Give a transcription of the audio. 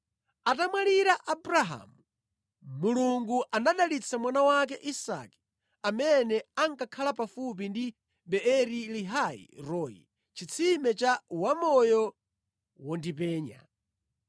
Atamwalira Abrahamu, Mulungu anadalitsa mwana wake Isake, amene ankakhala pafupi ndi Beeri-lahai-roi (chitsime cha Wamoyo Wondipenya).